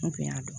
N kun y'a dɔn